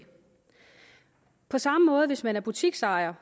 på samme måde hvis man er butiksejer